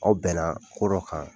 Aw bɛn na ko dɔ kan.